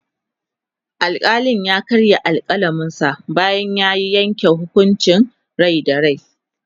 alkalin ya karya alkalaminsa bayan ya Yanke hukuncin Rai da rai